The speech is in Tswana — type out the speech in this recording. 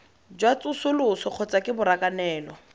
jwa tsosoloso kgotsa ke borakanelo